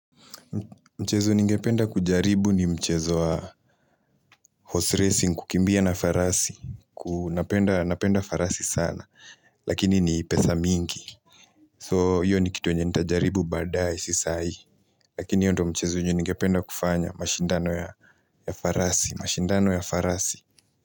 Mchezo ningependa kujaribu ni mchezu wa horse racing kukimbia na farasi na penda farasi sana Lakini ni pesa mingi So hiyo ni kitu yenye nitajaribu badaaye si hii Lakini hio ndio mchezo yenye ninge penda kufanya mashindano ya farasi.